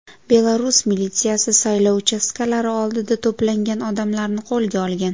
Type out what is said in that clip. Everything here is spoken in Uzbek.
Belarus militsiyasi saylov uchastkalari oldida to‘plangan odamlarni qo‘lga olgan .